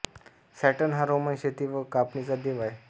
Saturn हा Roman शेती व कापणीचा देव आहे